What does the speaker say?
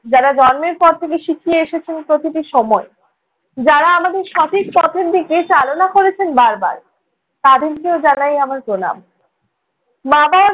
যারা জন্মের পর থেকে শিখিয়ে এসেছেন প্রতিটি সময়, যারা আমাদের সঠিক পথের দিকে চালনা করেছেন বারবার। তাদেরকেও জানাই আমার প্রণাম। মা-বাবার